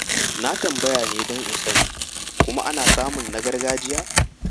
Na tambaya ne don in sani, kuma ana samun na gargajiya?